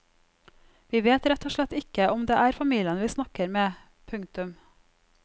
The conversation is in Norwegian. Vi vet rett og slett ikke om det er familien vi snakker med. punktum